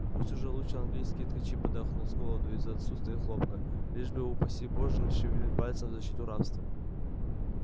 пусть уже лучше английские ткачи подохнут с голоду из-за отсутствия хлопка лишь бы упаси боже не шевельнуть пальцем в защиту рабства